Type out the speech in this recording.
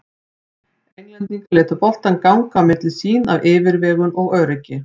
Englendingar létu boltann ganga á milli sín af yfirvegun og öryggi.